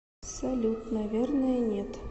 салют наверное нет